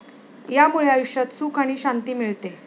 यामुळे आयुष्यात सुख आणि शांती मिळते.